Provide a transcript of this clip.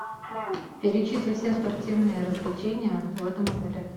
перечисли все спортивные развлечения в этом отеле